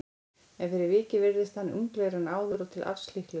En fyrir vikið virðist hann unglegri en áður og til alls líklegur.